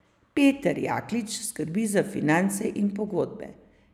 Peter Jaklič skrbi za finance in pogodbe.